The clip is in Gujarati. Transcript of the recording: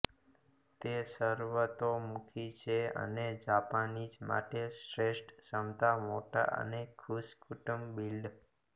તે સર્વતોમુખી છે અને જાપાનીઝ માટે શ્રેષ્ઠ ક્ષમતા મોટા અને ખુશ કુટુંબ બિલ્ડ